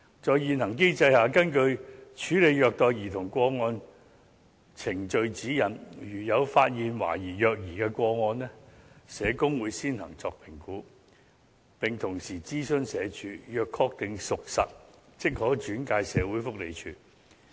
在現行機制下，根據《處理虐待兒童個案程序指引》，如有發現懷疑虐兒個案，社工會先作評估，並同時諮詢社署，若確定屬實，即可轉介社署。